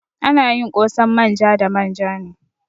Ana yin ƙosan manja da manja ne.